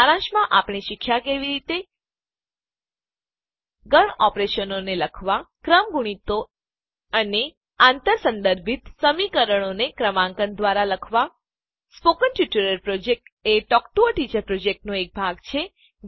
સારાંશમાં આપણે શીખ્યાં કે કેવી રીતે ગણ ઓપરેશનો લખવા ક્રમગુણિતો ફેક્ટોરીયલ્સ અને આંતર સંદર્ભિત સમીકરણો ક્રોસ રેફરન્સ ઈક્વેશન્સ ને ક્રમાંકન દ્વારા લખવા સ્પોકન ટ્યુટોરીયલ પ્રોજેક્ટ એ ટોક ટુ અ ટીચર યોજનાનો એક ભાગ છે